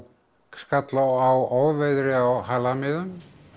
skall á ofviðri á halamiðum